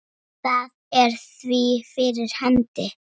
Það er því fyrir hendi.